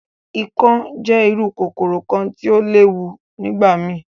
Ikán jẹ iru kokoro kan ti o le lewu nigbamii.